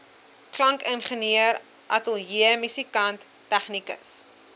klankingenieur ateljeemusikant tegnikus